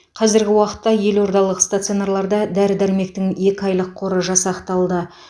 қазіргі уақытта елордалық стационарларда дәрі дәрмектің екі айлық қоры жасақталды